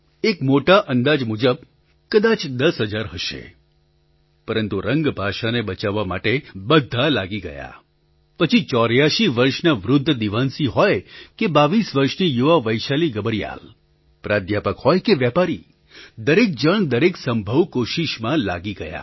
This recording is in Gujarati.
એક મોટા અંદાજ મુજબ કદાચ દસ હજાર હશે પરંતુ રંગ ભાષાને બચાવવા માટે બધા લાગી ગયા પછી ચોર્યાસી વર્ષના વૃદ્ધ દીવાનસિંહ હોય કે બાવીસ વર્ષની યુવા વૈશાલી ગબર્યાલ પ્રાધ્યાપક હોય કે વેપારી દરેક જણ દરેક સંભવ કોશિશમાં લાગી ગયા